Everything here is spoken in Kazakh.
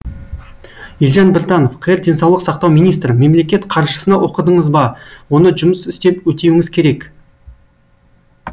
елжан біртанов қр денсаулық сақтау министрі мемлекет қаржысына оқыдыңыз ба оны жұмыс істеп өтеуіңіз керек